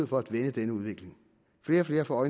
for at vende denne udvikling flere og flere får